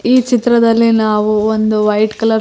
ಈ ಚಿತ್ರದಲ್ಲಿ ನಾವು ಒಂದು ವೈಟ್ ಕಲರ್ ಸ್ --